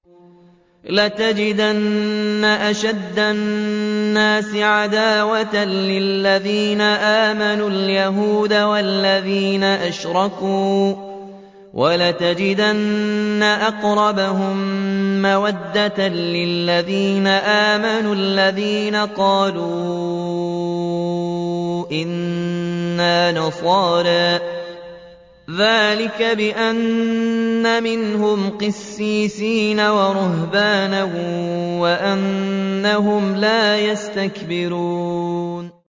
۞ لَتَجِدَنَّ أَشَدَّ النَّاسِ عَدَاوَةً لِّلَّذِينَ آمَنُوا الْيَهُودَ وَالَّذِينَ أَشْرَكُوا ۖ وَلَتَجِدَنَّ أَقْرَبَهُم مَّوَدَّةً لِّلَّذِينَ آمَنُوا الَّذِينَ قَالُوا إِنَّا نَصَارَىٰ ۚ ذَٰلِكَ بِأَنَّ مِنْهُمْ قِسِّيسِينَ وَرُهْبَانًا وَأَنَّهُمْ لَا يَسْتَكْبِرُونَ